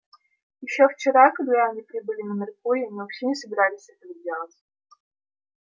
ещё вчера когда они прибыли на меркурий они вообще не собирались этого делать